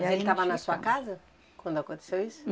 E aí ele estava na sua casa quando aconteceu isso?